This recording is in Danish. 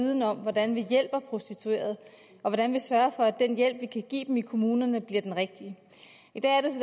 viden om hvordan vi hjælper prostituerede og hvordan vi sørger for at den hjælp man kan give dem i kommunerne bliver den rigtige i dag